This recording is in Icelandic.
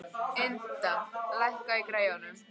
Ynda, lækkaðu í græjunum.